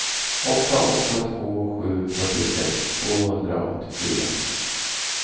åtta åtta två sju fyrtiosex tvåhundraåttiofyra